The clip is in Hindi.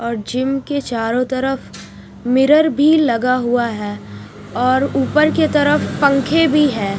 और जिम के चारों तरफ मिरर भी लगा हुआ है और ऊपर के तरफ पंखे भी है।